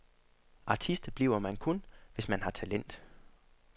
Artist bliver man kun, hvis man har talent.